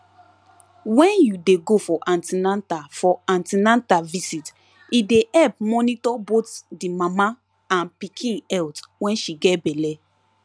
when you de go for an ten atal for an ten atal visit e de help monitor both the mama and pikin health when she get belle